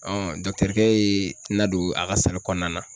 kɛ ye n na don a ka kɔnɔna na.